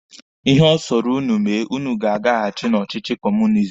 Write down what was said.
Ihe ọ sọrọ ụnụ mee, ụnụ ga-agahasi na ọchịchị kọọmunizim.